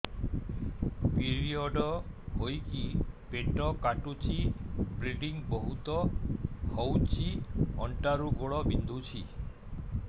period ହୋଇକି ପେଟ କାଟୁଛି ବ୍ଲିଡ଼ିଙ୍ଗ ବହୁତ ହଉଚି ଅଣ୍ଟା ରୁ ଗୋଡ ବିନ୍ଧୁଛି